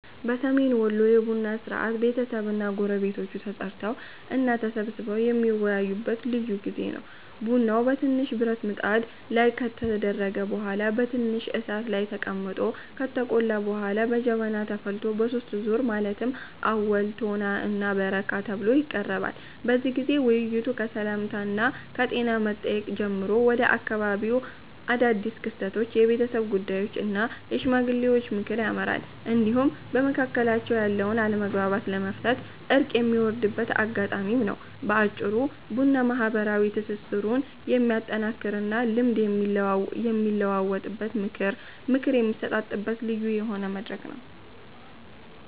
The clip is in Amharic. በሰሜን ወሎ የቡና ሥርዓት ቤተሰብና ጎረቤቶች ተጠራርተው እና ተሰባስበው የሚወያዩበት ልዩ ጊዜ ነው። ቡናው በትንሽ ብረት ብጣት ላይ ከተደረገ በኋላ በትንሽ እሳት ላይ ተቀምጦ ከተቆላ በኋላ በጀበና ተፈልቶ በሦስት ዙር ማለትም አወል፣ ቶና እና በረካ ተብሎ ይቀርባል። በዚህ ጊዜ ውይይቱ ከሰላምታና ከጤና መጠየቅ ጀምሮ ወደ አካባቢው አዳድስ ክስተቶች፣ የቤተሰብ ጉዳዮች እና የሽማግሌዎች ምክር ያመራል፤ እንዲሁም በመካከላቸው ያለውን አለመግባባት ለመፍታት እርቅ የሚወርድበት አጋጣሚም ነው። በአጭሩ ቡና ማህበራዊ ትስስሩን የሚያጠናክርና ልምድ የሚለዋወጥበት፣ ምክር የሚሰጣጥበት ልዩ የሆነ መድረክ ነው።